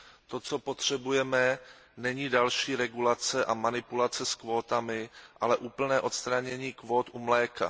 To, co potřebujeme, není další regulace a manipulace s kvótami, ale úplné odstranění kvót u mléka.